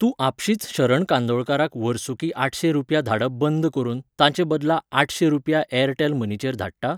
तूं आपशींच शरण कांदोळकाराक वर्सुकी आठशें रुपया धाडप बंद करून ताचे बदला आठशें रुपया एअरटेल मनीचेर धाडटा?